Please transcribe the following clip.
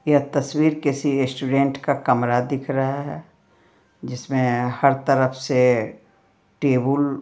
यह तस्वीर किसी स्टूडेंट का कमरा दिख रहा है जिसमें हर तरफ से टेबल --